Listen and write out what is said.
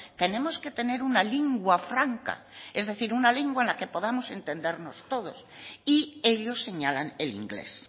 tenemos que tener una lingua franca es decir una lengua en la que podamos entendernos todos y ellos señalan el inglés